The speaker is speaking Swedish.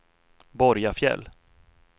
Borgafjäll